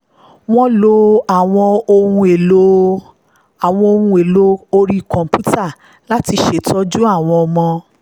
wọ́n lo àwọn ohun-èlò orí kọ̀ǹpútà láti ṣètò àwọn iṣẹ́ ìtọ́jú ọmọ